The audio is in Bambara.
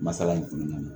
Masala in kɔnɔna na